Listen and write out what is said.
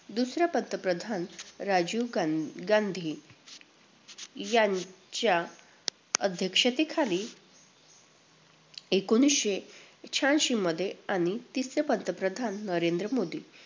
दुसरे पंतप्रधान राजीव गां~ गांधी यांच्या अध्यक्षतेखाली एकोणवीसशे शहाऐंशीमध्ये आणि तिसरे पंतप्रधान नरेंद्र मोदी